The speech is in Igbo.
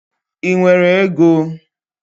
Ị nwere ego?